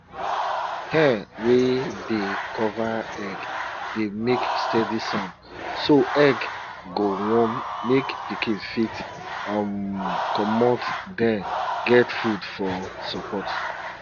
hen wey dey cover egg dey make steady sound so egg go warm make pikin fit um comot den get food for support